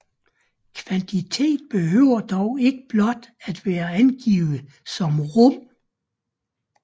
Kvantitet behøver dog ikke blot at være angivet som rum